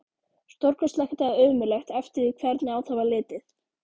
Stórkostlegt eða ömurlegt, eftir því hvernig á það var litið.